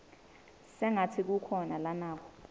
sengatsi kukhona lanako